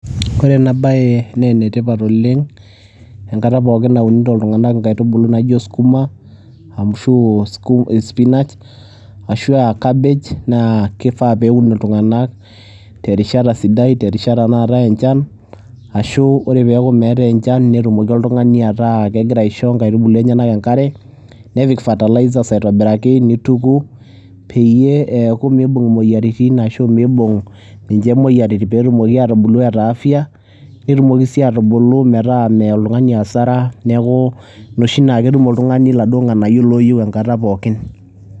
kore enaa bai naa netipat oleng enkata pooki naunutoo ltunganak nkaitubuluu naijoo sukumaa ashuu oo spinash aashu aa kabej. Naa keifaa peyie ewun ltunganak te rishataa sidai te rishata naatai nchan ashuu oree peaku meatai nchan notumokii ltungani ataa kegiraa aishoo nkaituuluu enyenak nkaree, nepik fatalaisas aitibirakii neitukuu peyie eakuu meibung moyaritin ashuu meibung ninshe moyaritin pootumokii atubuluu eataa afyaa notumokii sii atubuluu petaa meyaa meyaa ltunganii hasaraa naaku noshii naa kotum ltungani laduo nganayoo looyeu nkataa pooki